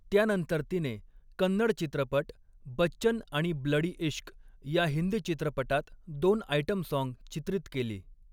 त्यानंतर तिने कन्नड चित्रपट बच्चन आणि ब्लडी इश्क या हिंदी चित्रपटात दोन आयटम साँग चित्रित केली.